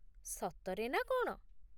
ସତରେ ନା କ'ଣ ?